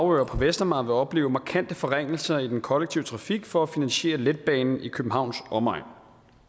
og på vestamager vil opleve markante forringelser i den kollektive trafik for at finansiere letbanen i københavns omegn